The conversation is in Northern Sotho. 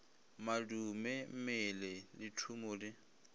madume mmele le thumo di